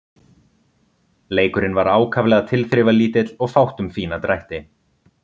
Leikurinn var ákaflega tilþrifalítill og fátt um fína drætti.